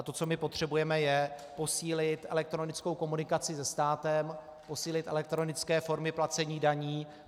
A to, co my potřebujeme, je posílit elektronickou komunikaci se státem, posílit elektronické formy placení daní.